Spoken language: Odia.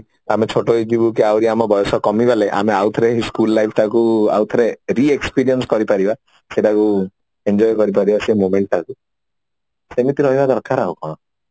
ଆହୁରି ଆମେ ଛୋଟ ହେଇଯିବୁ କି ଆହୁରି ଆମ ବୟସ କମିଗଲେ ଆମେ ଆଉ ଥରେ ଏଇ school life ଟାକୁ ଆଉଥରେ re experience କରି ପାରିବା ସେଇଟାକୁ enjoy କରି ପାରିବା ସେଇ moment ଟାକୁ ସେମିତି ରହିବା ଦରକାର ଆଉ କଣ